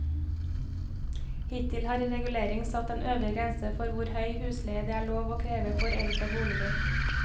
Hittil har reguleringen satt en øvre grense for hvor høy husleie det er lov å kreve for eldre boliger.